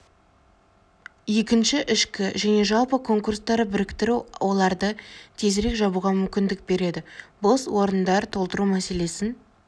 екінші ішкі және жалпы конкурстарды біріктіру оларды тезірек жабуға мүмкіндік береді бос орындар толтыру мәселесін